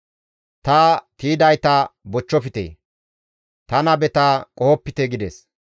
«Ta tiydayta bochchofte; ta nabeta qohopite» gides.